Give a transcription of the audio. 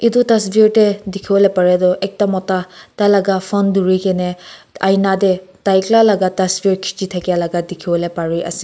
atu tasveer de dikhi bole pare tu ekta mota tai laga phone duri gina aina de tai ekla la tasveer khichi laga dikhi bole pare ase.